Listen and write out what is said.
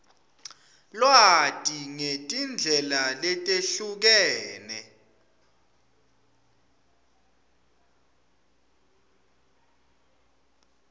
lwati ngetindlela letehlukene